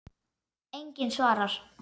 Enginn svarar.